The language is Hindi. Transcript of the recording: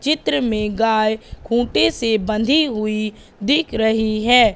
चित्र में गाय खूंटे से बंधी हुई दिख रही है।